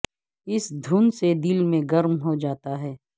اس دھن سے دل میں گرم ہو جاتا ہے